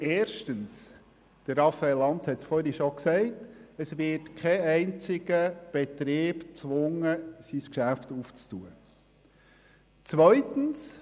Denn erstens – Raphael Lanz hat es vorhin schon gesagt – wird kein einziger Betrieb gezwungen, sein Geschäft zu öffnen.